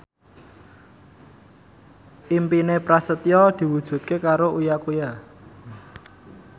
impine Prasetyo diwujudke karo Uya Kuya